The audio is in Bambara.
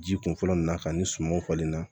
Ji kun fɔlɔ mun na ka nin sumanw falen na